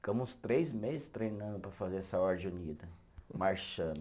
Ficamos três meses treinando para fazer essa ordem unida, marchando.